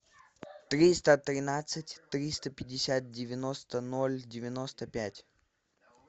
триста тринадцать триста пятьдесят девяносто ноль девяносто пять